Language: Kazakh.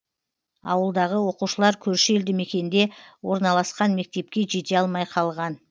ауылдағы оқушылар көрші елді мекенде орналасқан мектепке жете алмай қалған